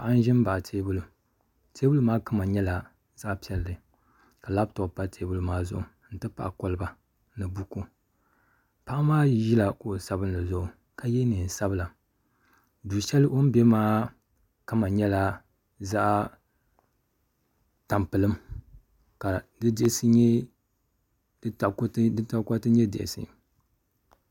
Paɣa n ʒi baɣa teebuli teebuli maa kama nyɛla zaɣ piɛlli ka labtop pa teebuli maa zuɣu n ti pahi kolba ni buku paɣa maa ʒila kuɣu sabinli zuɣu ka yɛ neen. sabila du shɛli o ni bɛ maa kama nyɛla zaɣ tampilim ka di takoriti nyɛ diɣisi